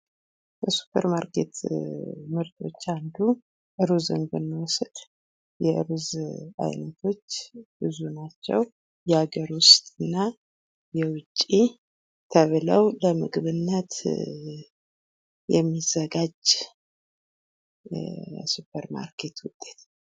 ከሱፐር ማርኬት ምርቶች አንዱ ሩዝን ብንወስድ የሩዝ አይነቶች ብዙ ናቸው። የሃገር ውስጥ እና የውጭ ተብለው ለምግብነት የሚዘጋጂ የሱፐር ማርኬት ውጤት ነው።